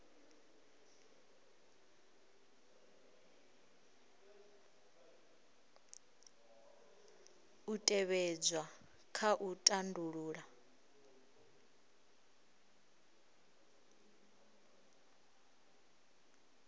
u tevhedzwa kha u tandulula